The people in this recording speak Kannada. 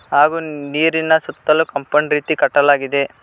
ಹಾಗೂ ನೀರಿನ ಸುತ್ತಲೂ ಕಾಂಪೌಂಡ್ ರೀತಿ ಕಟ್ಟಲಾಗಿದೆ.